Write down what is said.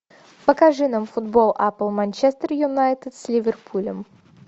покажи нам футбол апл манчестер юнайтед с ливерпулем